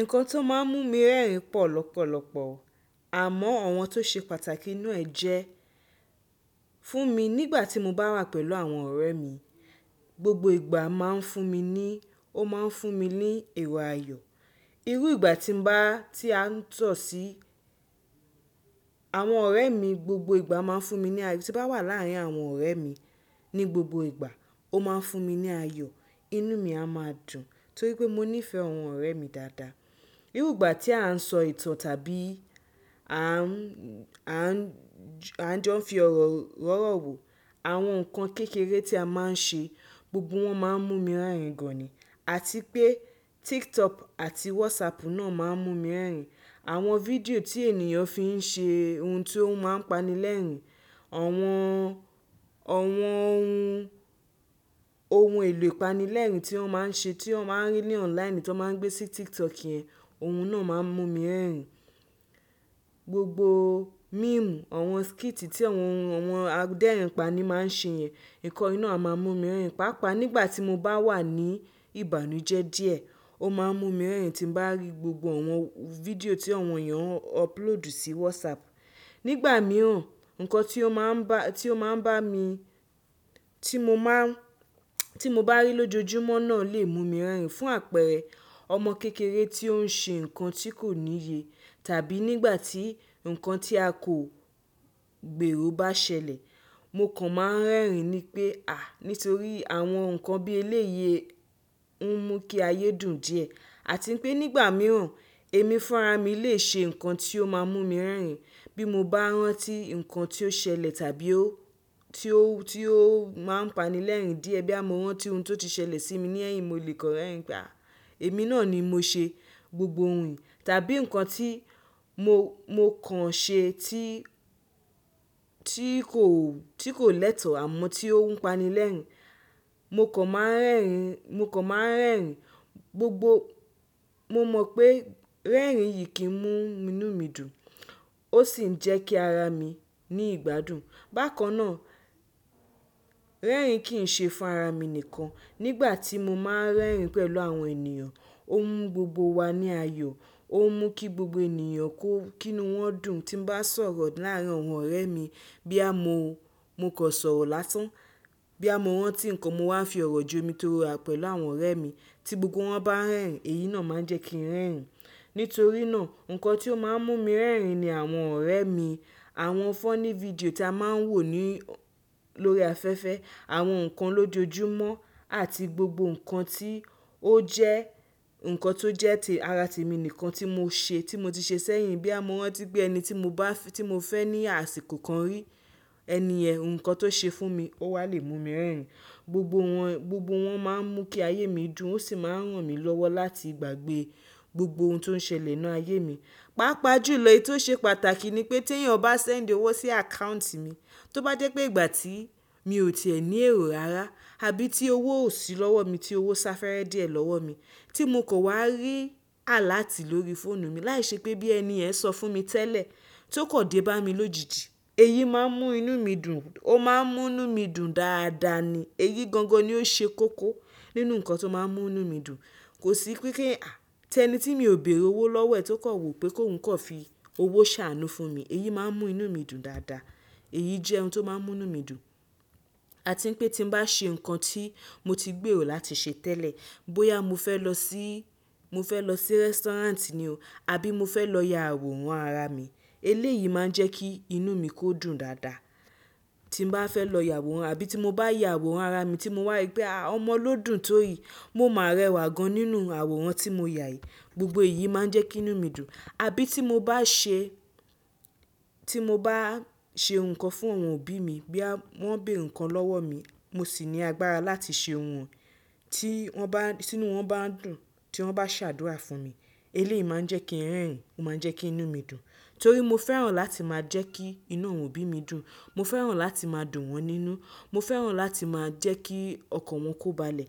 Nǹkan tó máa ń mú mi rẹ́rìn pọ̀ lọ́pọ̀lọpọ̀, àmọ́ àwọn tó ṣe pàtàkì nu e jẹ́, fún mi nígbà tí mo bá wà pẹ̀lú àwọn ọ̀rẹ́ mi, gbogbo ìgbà máa ń fún mi ní, ó máa ń fún mi ní èrò aayọ̀. Irú ìgbà tí ń bá, tí à ń tọ̀ sí àwọn ọ̀rẹ́ mi gbogbo ìgbà máa ń fún mi ní ayọ̀, tí bá wà láàárín àwọn ọ̀rẹ́ mi ní gbogbo ìgbà ó máa ń fún mi ní aayọ̀. Inú mi a máa dùn torí pé mo ní fẹ́ àwọn ọ̀rẹ́ mi dáadáa. Irú ìgbà tí a ń sọ ìtàn tàbí à ń, à ń jọ fi ọ̀rọ̀ rọ́rọ̀ wò, àwọn nǹkan kékeré tí a máa ń ṣe, gbogbo wọ́n máa ń mú mi rẹ́rìn gan-an ni. Àti pé TikTok àti WhatsApp náà máa ń mú mi rẹ́rìn. Àwọn fídíò tí ènìyàn fi ń ṣe ohun tí ó máa ń panilẹ́rìn, àwọn, àwọn ohun, ohun èlò ìpanilẹ́rìn tí wọ́n máa ń ṣe tí ó máa ń rí ní online tí wọ́n máa ń gbé sí TikTok yẹn, ohun náà máa ń mú mi rẹ́rìn. Gbogbo meme, àwọn skit tí àwọn ọmọ aderin pa ni máa ń ṣe yẹn, nǹkan yìí ná a máa mú mi rẹ́rìn. Pápàá nígbà tí mo bá wà ní ìbànújẹ́ díẹ̀ ó máa ń mú mi rẹ́rìn tí mo bá rí gbogbo àwọn fídíò tí àwọn ènìyàn ọpulóòdù sí WhatsApp. Nígbà mìíràn, nǹkan tí ó máa ń bá, tí ó máa ń bá mi, tí mo máa ń, tí mo bá rí lójoojúmọ́ náà lè mú mi rẹ́rìn. Fún àpẹẹrẹ, ọmọ kékeré tí ó ń ṣe nǹkan tí kò níye tàbí nígbà tí nǹkan tí a kò gbèrò bá ṣẹlẹ̀, mo kàn máa ń rẹ́rìn ni pé à, nítorí àwọn nǹkan bí ẹlẹ́yè ń mú kí ayé dùn díẹ̀. Àti pé nígbà mìíràn èmi fún ara mi lè ṣe nǹkan tí ó máa mú mi rẹ́rìn. Bí mo bá rántí nǹkan tí ó ṣẹlẹ̀ tàbí ó, tí ó, tí ó máa ń panilẹ́rìn díẹ̀ bí a mo rántí ohun tí ó ti ṣẹlẹ̀ sí mi ní ẹ̀yìn mo lè kọ rẹ́rìn pé a èmi náà ni mo ṣe gbogbo ohun tàbí nǹkan tí mo, mo kàn ṣe tí, tí kò, tí kò lẹ́tọ̀ àmọ́ tí ó ń panilẹ́rìn. Mo kàn máa ń rẹ́rìn, mo kàn máa ń rẹ́rìn gbogbo. Mo mọ̀ pé rẹ́rìn yìí kì í mú inú mi dùn, ó sì ń jẹ́ kí ara mi ní ìgbádùn. Bákan náà, rẹ́rìn kì í ṣe fún ara mi nìkan. Nígbà tí mo máa ń rẹ́rìn pẹ̀lú àwọn ènìyàn, ó ń mú gbogbo wa ní ayọ̀, ó ń mú kí gbogbo ènìyàn kó kí inú wọn dùn. Tí n bá sọ̀rọ̀ láàárín àwọn ọ̀rẹ́ mi bóyá mo, mo kan sọ̀rọ̀ lásán, bóyá mo rántí nǹkan mo máa ń fi ọ̀rọ̀ jo omi torú ọ̀rọ̀ pẹ̀lú àwọn ọ̀rẹ́ mi tí gbogbo wọn bá rẹ́rìn èyí náà máa ń jẹ́ kí n rẹ́rìn. Nítorí náà, nǹkan tí ó máa ń mú mi rẹ́rìn ni àwọn ọ̀rẹ́ mi, àwọn fọ́ní fídíò tí a máa ń wò ní, lórí afẹ́fẹ́, àwọn nǹkan lójoojúmọ́ àti gbogbo nǹkan tí ó jẹ́ nǹkan tó jẹ́ tì ara ti mi nìkan tí mo ṣe tí mo ti ṣe sẹ́yìn. Boya mo rántí pé ẹni tí mo bá, tí mo fẹ́ ní àsìkò kan rí ẹniyẹn nǹkan tó ṣe fún mi ó wá lè mú mi rẹ́rìn. Gbogbo wọn, gbogbo wọn máa ń mú kí ayé mi dùn ó sì máa ń ràn mí lọ́wọ́ láti gbàgbé gbogbo ohun tó ń ṣẹlẹ̀ nínú ayé mi. Pápá jùlọ èyí tó ṣe pàtàkì ni pé tí ènìyàn bá sẹ́ńdì owó sí àkáùntì mi, tó bá jẹ́ pé ìgbà tí mi ò tì ẹ́ ní èrò rárá àbí tí owó ò sí lọ́wọ́ mi tí owó sá fẹ́rẹ́ díẹ̀ lọ́wọ́ mi tí mo kò wá rí àláàtì lórí fóònù mi láìṣẹ́ pé bóyá ẹniyẹn sọ fún mi tẹ́lẹ̀ tí ó kan dé bá mi lójijì èyí máa ń mú inú mi dùn, ó máa ń mú inú mi dùn dáadáa ni. Èyí gangan ni ó ṣe koko nínú nǹkan tó máa ń mú inú mi dùn. Kò sí pé kí à, tí ẹni tí mi ò bèèrè owó lọ́wọ́ ẹ̀ tí ó kan wo pé kí oun kan fi owó ṣàánú fún mi, èyí máa ń mú inú mi dùn dáadáa. Èyí jẹ́ ohun tó máa ń mú inú mi dùn. Àti pé tí mo bá ṣe nǹkan tí mo ti gbèrò láti ṣe tẹ́lẹ̀, bóyá mo fẹ́ lọ sí, mo fẹ́ lọ sí rẹ́sítọ́ráǹtì ni o àbí mo fẹ́ lọ ya àwòrán ara mi, eléyìí máa ń jẹ́ kí inú mi kó dùn dáadáa. Tí mo bá fẹ́ lọ ya àwòrán àbí tí mo bá ya àwòrán ara mi tí mo wà rí pé a ọmọ ló dùn tó yìí, mo má rẹwà gan-an nínú àwòrán tí mo yà yìí. Gbogbo èyí máa ń jẹ́ kí inú mi dùn. Àbí tí mo bá ṣe, tí mo bá ṣe nǹkan fún àwọn òbí mi bóyá wọ́n béèrè nǹkan lọ́wọ́ mi mo sì ní agbára láti ṣe ohun ti wọ́n bá, tínú wọn bá dùn tí wọ́n bá ṣàdúrà fún mi, eléyìí máa ń jẹ́ kí n rẹ́rìn ó máa ń jẹ́ kí inú mi dùn. Torí mo fẹ́ràn láti máa jẹ́ kí inú àwọn òbí mi dùn, mo fẹ́ràn láti máa dùn wọ́n nínú, mo fẹ́ràn láti máa jẹ́ kí ọkàn wọn kó balẹ̀.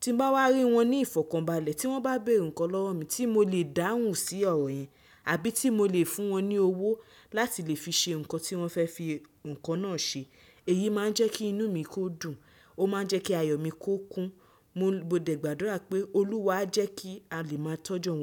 Tí mo bá wà rí wọn ní ìfọ̀kànbalẹ̀ tí wọ́n bá béèrè nǹkan lọ́wọ́ mi tí mo lè dáhùn sí ọ̀rọ̀ yẹn àbí tí mo lè fún wọn ní owó láti lè fi ṣe nǹkan tí wọ́n fẹ́ fi nǹkan náà ṣe, èyí máa ń jẹ́ kí inú mi kó dùn, ó máa ń jẹ́ kí ayọ̀ mi kó kún. Mo dẹ̀gbàdúrà pé Olúwa á jẹ́ kí a lè máa tọ́jú wọn.